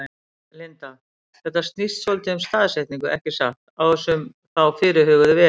Linda: Þetta snýst svolítið um staðsetninguna ekki satt, á þessu þá fyrirhuguðu veri?